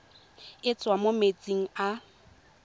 e tswang mo metsing a